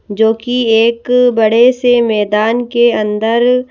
जोकि एक बड़े से मैदान के अंदर --